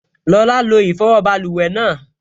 Lọla lo ìfọwọ́ báluwẹ̀ náà